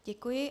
Děkuji.